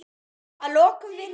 Að lokum virðist